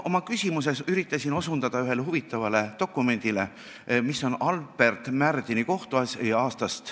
Oma küsimuses ma osutasin ühele huvitavale dokumendile, mis on Albert Märdini kohtuasi.